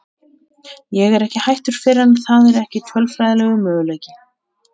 Ég er ekki hættur fyrr en það er ekki tölfræðilegur möguleiki.